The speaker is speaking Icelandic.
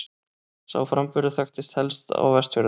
Sá framburður þekktist helst á Vestfjörðum.